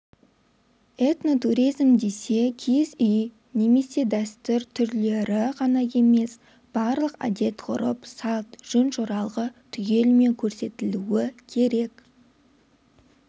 этнотуризм десе киіз үй немесе дәстүр түрлері ғана емес барлық әдет-ғұрып салт жөн-жоралғы түгелімен көрсетілуі керек